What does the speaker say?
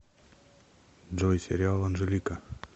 джой сериал анжелика